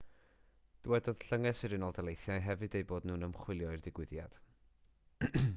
dywedodd llynges yr ud hefyd eu bod nhw'n ymchwilio i'r digwyddiad